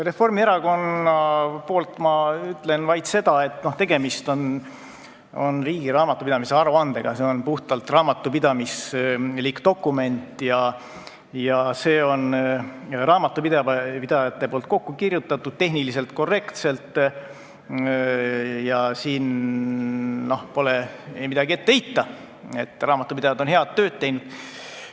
Reformierakonna nimel ütlen vaid seda, et tegemist on riigi raamatupidamise aruandega, see on puhtalt raamatupidamislik dokument, see on raamatupidajate poolt tehniliselt korrektselt kokku kirjutatud ja pole midagi ette heita, raamatupidajad on head tööd teinud.